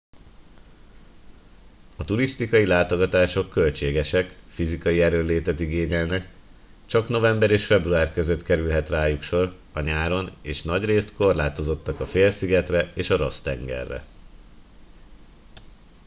a turisztikai látogatások költségesek fizikai erőnlétet igényelnek csak november és február között kerülhet rájuk sor a nyáron és nagyrészt korlátozottak a félszigetre és a ross tengerre